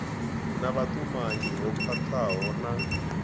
na vhutumanyi ho khwathaho na